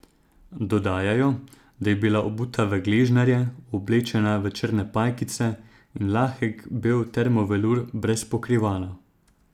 Dodajajo, da je bila obuta v gležnjarje, oblečena v črne pajkice in lahek bel termo velur brez pokrivala.